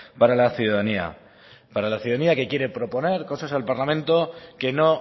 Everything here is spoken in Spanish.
para la ciudadanía para la ciudadanía que quiere proponer cosas al parlamento que no